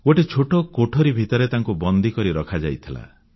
ଗୋଟିଏ ଛୋଟ କୋଠରୀ ଭିତରେ ତାଙ୍କୁ ବନ୍ଦକରି ରଖାଯାଇଥିଲା